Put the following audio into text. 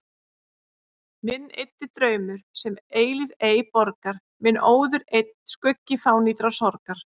Minn eyddi draumur, sem eilífð ei borgar, minn óður einn skuggi fánýtrar sorgar.